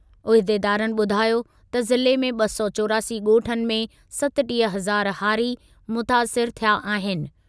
उहिदेदारनि ॿुधायो त ज़िले में ॿ सौ चोरासी ॻोठनि में सतटीह हज़ार हारी मुतासिरु थिया आहिनि।